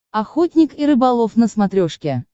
охотник и рыболов на смотрешке